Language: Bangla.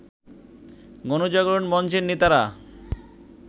গণজাগরণ মঞ্চের নেতারা